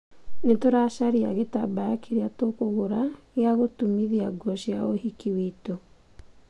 Nĩtũracaria gĩtambaya kĩrĩa tũkũgũra gia gũtumithia nguo cia ũhiki witũ.